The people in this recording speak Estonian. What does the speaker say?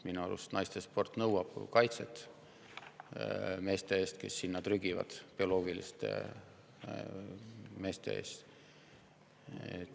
Minu arust vajab naiste sport kaitset meeste eest, kes sinna trügivad, bioloogiliste meeste eest.